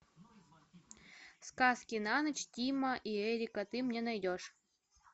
сказки на ночь тима и эрика ты мне найдешь